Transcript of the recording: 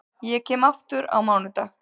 Ég kem aftur á mánudag.